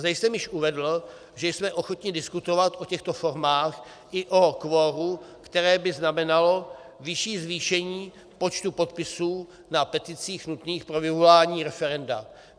Zde jsem již uvedl, že jsme ochotni diskutovat o těchto formách i o kvoru, které by znamenalo vyšší zvýšení počtu podpisů na peticích nutných pro vyvolání referenda.